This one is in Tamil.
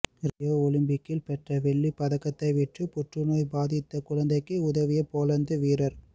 ரியோ ஒலிம்பிக்கில் பெற்ற வெள்ளிப் பதக்கத்தை விற்று புற்றுநோய் பாதித்த குழந்தைக்கு உதவிய போலந்து வீரர்